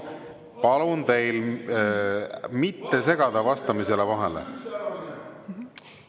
Palun teil mitte segada vastamisele vahele.